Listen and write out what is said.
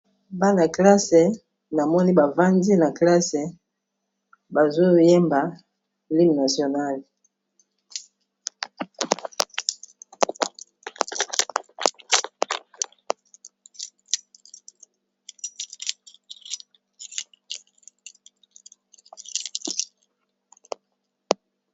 Bana classe na moni bavandi na classe bazoyemba l'hymnenational.